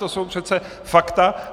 To jsou přece fakta.